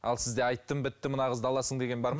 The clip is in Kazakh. ал сізде айттым бітті мына қызды аласың деген бар ма